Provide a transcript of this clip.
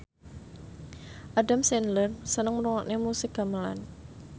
Adam Sandler seneng ngrungokne musik gamelan